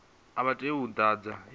a vha tei u ḓadza